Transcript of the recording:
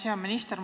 Hea minister!